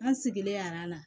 An sigilen yara n na